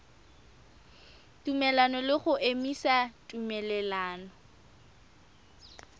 tumelelano le go emisa tumelelano